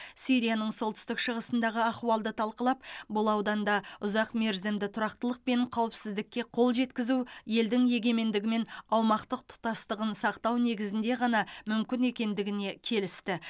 сирияның солтүстік шығысындағы ахуалды талқылап бұл ауданда ұзақмерзімді тұрақтылық пен қауіпсіздікке қол жеткізу елдің егемендігі мен аумақтық тұтастығын сақтау негізінде ғана мүмкін екендігіне келісті